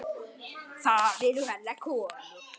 Það eru hennar konur.